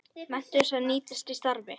Menntun sem nýtist í starfi